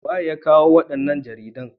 waye ya kawo wannan jaridan?